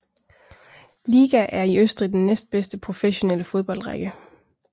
Liga er i Østrig den næstbedste professionelle fodboldrække